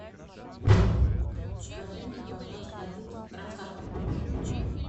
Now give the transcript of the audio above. закажи мне пожалуйста один килограмм картошки